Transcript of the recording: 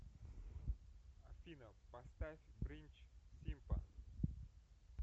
афина поставь бринч симпа